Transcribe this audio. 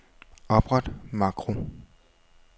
Opret makro.